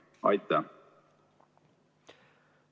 Aitäh!